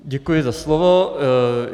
Děkuji za slovo.